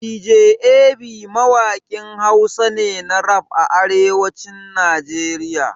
Dj Ab mawaƙin Hausa ne na rap a arewacin Najeriya.